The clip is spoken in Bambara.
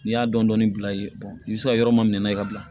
N'i y'a dɔɔnin dɔɔnin bila i ye i bɛ se ka yɔrɔ mun minɛ n'a ye ka bila